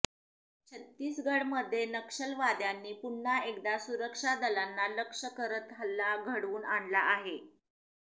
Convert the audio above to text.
छत्तीसगडमध्ये नक्षलवाद्यांनी पुन्हा एकदा सुरक्षा दलांना लक्ष्य करत हल्ला घडवून आणला आहे